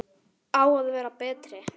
Á að vera betri.